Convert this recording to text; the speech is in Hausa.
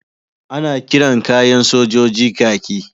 Ana kiran kayan sojoji kaki.